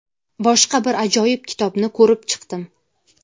boshqa bir ajoyib kitobni ko‘rib chiqdim.